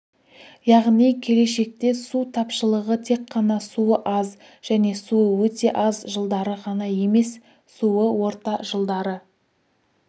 яғни келешекте су тапшылығы тек қана суы аз және суы өте аз жылдары ғана емес суы орта жылдары